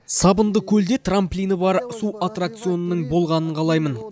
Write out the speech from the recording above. сабындыкөлде трамплині бар су аттракционының болғанын қалаймын